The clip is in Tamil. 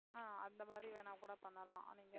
ஆஹ் அந்த மாதிரி வேணா கூட பண்ணலாம். நீங்க